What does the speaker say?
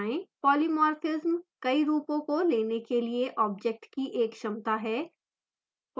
polymorphism कई रूपों को लेने के लिए object की एक क्षमता है